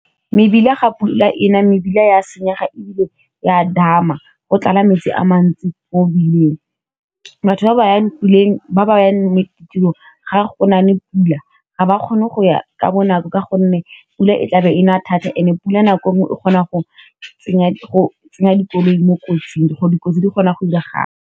Mebila a ga pula ena mebila ya senyega e bile ya dama go tlala metsi a mantsi mo mebileng batho ba ba ye ditirong ga go na le pula ga ba kgone go ya ka bonako ka gonne pula e tlabe e na thata and e pula nako nngwe o kgona go tsenya dikoloi mo kotsing di kotsi di kgona go diragala.